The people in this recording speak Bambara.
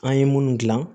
An ye minnu dilan